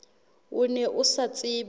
o ne o sa tsebe